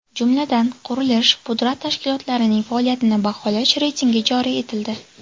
Jumladan, qurilish-pudrat tashkilotlarining faoliyatini baholash reytingi joriy etildi.